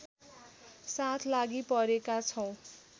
साथ लागिपरेका छौँ